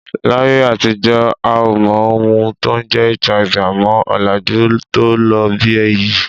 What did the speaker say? Láyé àtijọ́ a ò mọ ohun tó ń jẹ́ HIV, àmọ́ ọ̀làjú tó ló bí èyí